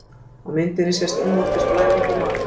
Á myndinni sést innvortis blæðing í maga.